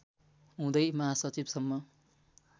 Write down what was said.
हुँदै महासचिव सम्म